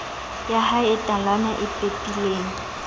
yahae e talana e pepileng